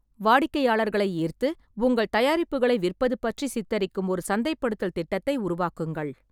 வாடிக்கையாளர்களை ஈர்த்து உங்கள் தயாரிப்புகளை விற்பது பற்றிச் சித்தரிக்கும் ஒரு சந்தைப்படுத்தல் திட்டத்தை உருவாக்குங்கள்.